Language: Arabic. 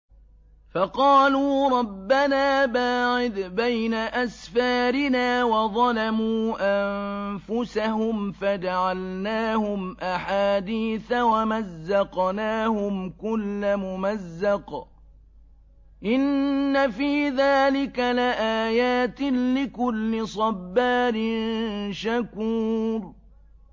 فَقَالُوا رَبَّنَا بَاعِدْ بَيْنَ أَسْفَارِنَا وَظَلَمُوا أَنفُسَهُمْ فَجَعَلْنَاهُمْ أَحَادِيثَ وَمَزَّقْنَاهُمْ كُلَّ مُمَزَّقٍ ۚ إِنَّ فِي ذَٰلِكَ لَآيَاتٍ لِّكُلِّ صَبَّارٍ شَكُورٍ